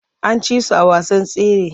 An ci su a wasan tsere.